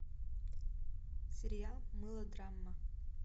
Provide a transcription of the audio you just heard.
сериал мылодрама